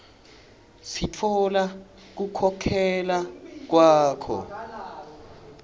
sitfola kukhokhela kwakho